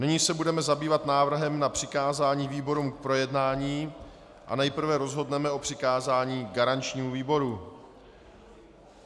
Nyní se budeme zabývat návrhem na přikázání výborům k projednání a nejprve rozhodneme o přikázání garančnímu výboru.